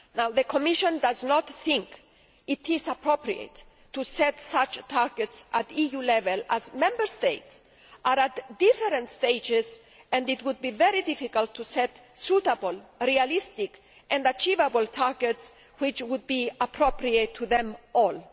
The Commission does not think it is appropriate to set such targets at EU level as Member States are at different stages and it would be very difficult to set suitable, realistic and achievable targets that would be appropriate for them all.